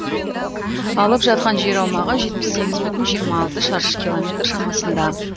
алып жатқан жер аумағы жетпіс сегіз бүтін жиырма алты шаршы километр шамасында